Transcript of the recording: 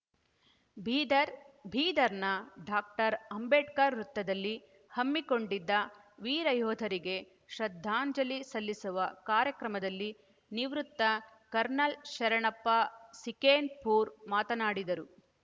ಬೀದರ್‌ ಬೀದರ್‌ನ ಡಾಕ್ಟರ್ ಅಂಬೇಡ್ಕರ್‌ ವೃತ್ತದಲ್ಲಿ ಹಮ್ಮಿಕೊಂಡಿದ್ದ ವೀರಯೋಧರಿಗೆ ಶ್ರದ್ಧಾಂಜಲಿ ಸಲ್ಲಿಸುವ ಕಾರ್ಯಕ್ರಮದಲ್ಲಿ ನಿವೃತ್ತ ಕರ್ನಲ್‌ ಶರಣಪ್ಪ ಸಿಕೇನ್‌ಪೂರ್‌ ಮಾತನಾಡಿದರು